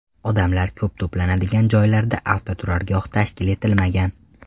Odamlar ko‘p to‘planadigan joylarda avtoturargoh tashkil etilmagan.